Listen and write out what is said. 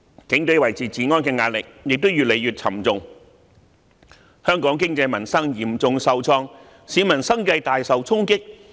警隊維持治安的壓力亦越來越沉重，香港經濟民生嚴重受創，市民生計大受衝擊。